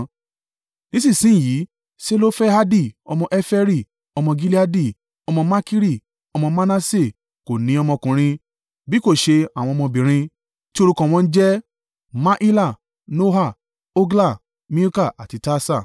Nísinsin yìí Selofehadi ọmọ Heferi, ọmọ Gileadi, ọmọ Makiri, ọmọ Manase, kò ní ọmọkùnrin, bí kò ṣe àwọn ọmọbìnrin, tí orúkọ wọn jẹ́: Mahila, Noa, Hogla, Milka àti Tirsa.